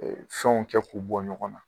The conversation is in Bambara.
Fɛnw kɛ k'u bɔ ɲɔgɔn na.